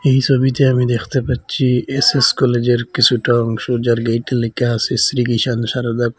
এই ছবিতে আমি দেখতে পাচ্ছি এই_এস কলেজের কিছুটা অংশ যার গেইটে লেখা আছে স্মৃক্রীশান সারদা প্লে--